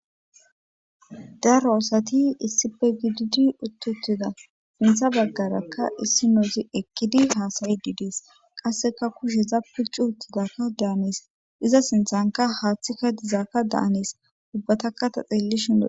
daro asati issipe gididi uttutida sintha baggarakka issinoozi eqqidi haasayidi dees qasseka kusheza picu uttidakka daanis iza sinthanka haaththikka dizaadda daanes ubbataka ta xelellishin lo'etes